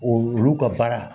Olu ka baara